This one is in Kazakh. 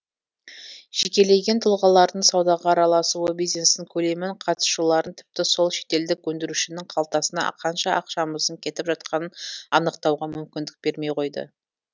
жекелеген тұлғалардың саудаға араласуы бизнестің көлемін қатысушыларын тіпті сол шетелдік өндірушінің қалтасына қанша ақшамыздың кетіп жатқанын анықтауға мүмкіндік бермей қойды